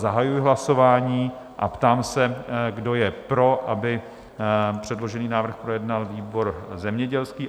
Zahajuji hlasování a ptám se, kdo je pro, aby předložený návrh projednal výbor zemědělský?